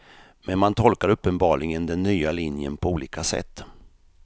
Men man tolkar uppenbarligen den nya linjen på olika sätt.